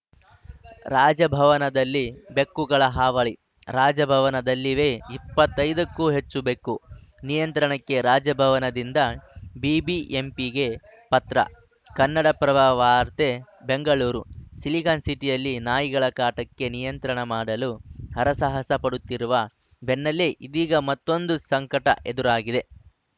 ರಾಜಭವನದಲ್ಲಿ ಬೆಕ್ಕುಗಳ ಹಾವಳಿ ರಾಜಭವನದಲ್ಲಿವೆ ಇಪ್ಪತ್ತ್ ಐದಕ್ಕೂ ಹೆಚ್ಚು ಬೆಕ್ಕು ನಿಯಂತ್ರಣಕ್ಕೆ ರಾಜಭವನದಿಂದ ಬಿಬಿಎಂಪಿಗೆ ಪತ್ರ ಕನ್ನಡಪ್ರಭ ವಾರ್ತೆ ಬೆಂಗಳೂರು ಸಿಲಿಕಾನ್‌ ಸಿಟಿಯಲ್ಲಿ ನಾಯಿಗಳ ಕಾಟಕ್ಕೆ ನಿಯಂತ್ರಣ ಮಾಡಲು ಹರಸಾಹಸ ಪಡುತ್ತಿರುವ ಬೆನ್ನಲ್ಲೆ ಇದೀಗ ಮತ್ತೊಂದು ಸಂಕಟ ಎದುರಾಗಿದೆ